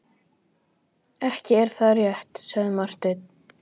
Ekki er það rétt, sagði Marteinn.